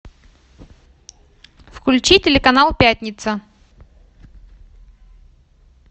включи телеканал пятница